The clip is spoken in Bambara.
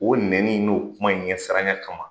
O neni in n'o kuma in ɲɛ saranya kama